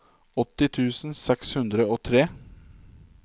åtti tusen seks hundre og tre